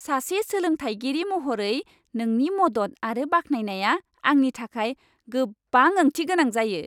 सासे सोलोंथायगिरि महरै नोंनि मदद आरो बाख्नायनाया आंनि थाखाय गोबां ओंथि गोनां जायो।